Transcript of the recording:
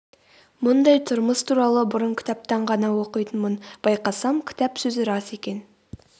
мұндай тұрмыс туралы бұрын кітаптан ғана оқитынмын байқасам кітап сөзі рас екен